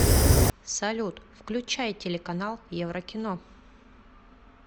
салют включай телеканал еврокино